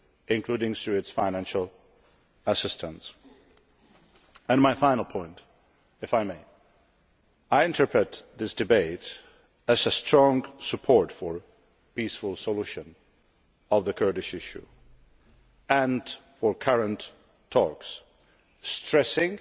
including through financial assistance. My final point, if I may I interpret this debate as strong support for a peaceful solution of the Kurdish issue and for current talks stressing,